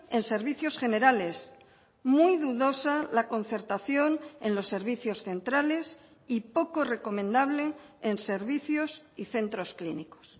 en servicios generales muy dudosa la concertación en los servicios centrales y poco recomendable en servicios y centros clínicos